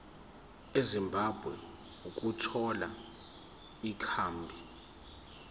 ezimbabwe ukuthola ikhambi